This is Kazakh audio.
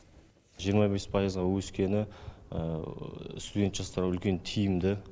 жиырма бес пайызға өскені студент жастарға үлкен тиімді